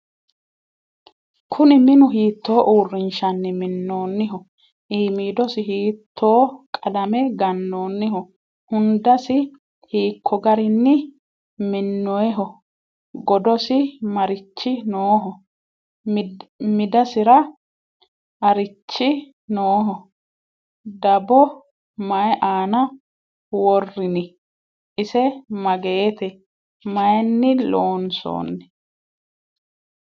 kuuni minu hiito urinshanni miinoniho? imidosi hito qalame ganonniho? hundasi hiko garinni minoyiho? godosi marchi noho? midasira arichi nooho? dabo mayi anna worinni? ise magete? mayinni lonsonni?